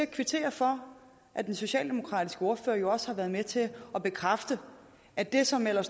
kvitterer for at den socialdemokratiske ordfører jo også har været med til at bekræfte at det som